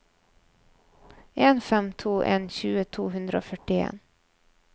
en fem to en tjue to hundre og førtien